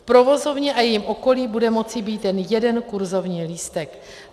V provozovně a jejím okolí bude moci být jen jeden kurzovní lístek.